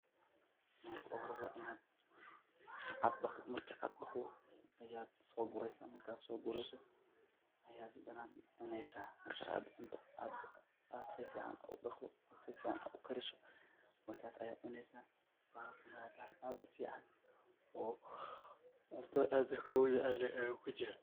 marka u hore waa inad dhaqdo, markad dhaqdo ayad soo bureysaa, markad soo burto ayad hadana cuneysa, markad cunto ad si fican udhaqdo si fican ukariso ayad cuneysa waa bahal aad u fican cuntada dadka loogu jecelyahay yuu kujiraa